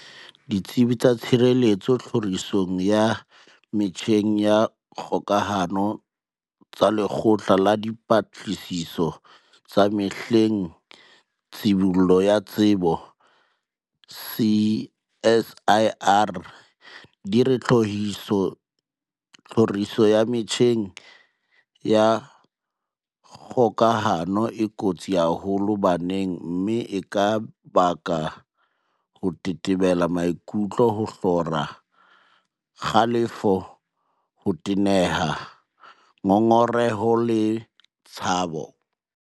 Ditsebi tsa tshireletso tlhorisong ya metjheng ya kgokahano tsa Lekgotla la Dipatlisiso tsa Mahlale le Tshibollo ya Tsebo, CSIR, di re tlhoriso ya metjheng ya kgokahano e kotsi haholo baneng mme e ka baka ho tetebela maikutlo, ho hlora, kgalefo, ho teneha, ngongereho le tshabo.